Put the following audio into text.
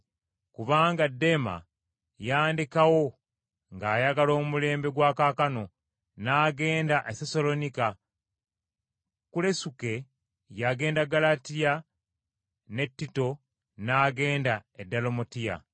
Kubanga Dema yandekawo ng’ayagala omulembe gwa kaakano, n’agenda e Sessaloniika. Kulesuke yagenda Ggalatiya ne Tito n’agenda e Dalumatiya.